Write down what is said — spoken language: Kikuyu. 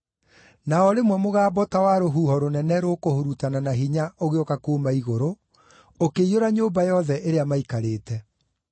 Na o rĩmwe mũgambo ta wa rũhuho rũnene rũkũhurutana na hinya ũgĩũka kuuma igũrũ, ũkĩiyũra nyũmba yothe ĩrĩa maaikarĩte.